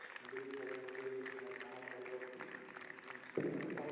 নদীবোৰ থাকে নদী পাহাৰ-পৰ্বত এইবোৰ চাবলৈ